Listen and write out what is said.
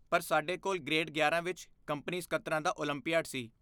ਪਰ ਸਾਡੇ ਕੋਲ ਗ੍ਰੇਡ ਗਿਆਰਾਂ ਵਿੱਚ ਕੰਪਨੀ ਸਕੱਤਰਾਂ ਦਾ ਓਲੰਪੀਆਡ ਸੀ